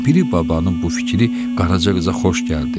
Piri babanın bu fikri Qaraca qıza xoş gəldi.